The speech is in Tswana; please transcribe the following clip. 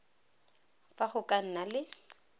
fa go ka nna le